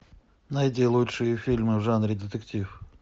найди лучшие фильмы в жанре детектив